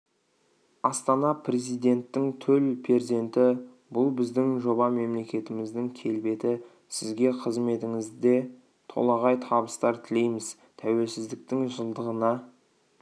астана президенттің төл перзенті бұл біздің жоба мемлекетіміздің келбеті сізге қызметіңізде толағай табыстар тілейміз тәуелсіздіктің жылдығына